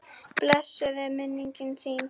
Blessuð er minning þín.